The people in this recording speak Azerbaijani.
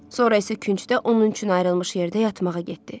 Sonra isə küncdə onun üçün ayrılmış yerdə yatmağa getdi.